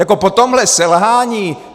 Jako po tomhle selhání.